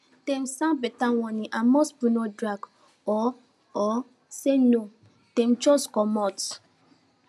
dem sound beta warning and most people no drag or or say no dem jux comot